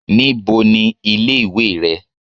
Ní bo ni ilé ìwé re?